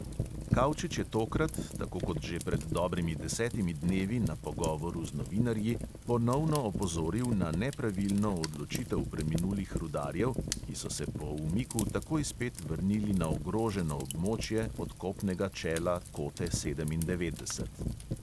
Kavčič je tokrat, tako kot že pred dobrimi desetimi dnevi na pogovoru z novinarji, ponovno opozoril na nepravilno odločitev preminulih rudarjev, ki so se po umiku takoj spet vrnili na ogroženo območje odkopnega čela kote sedemindevetdeset.